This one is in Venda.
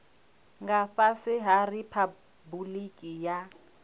nga fhasi ha riphabuliki ya